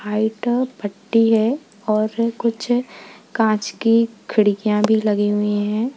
White पट्टी है और कुछ कांच की खिड़कियां भी लगी हुई हैं।